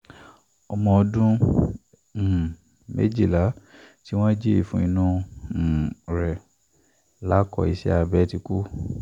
ọmọ ọdún um méjìlá tí wọ́n jí ìfun inú um rẹ̀ lákọ iṣẹ́ abẹ ti kú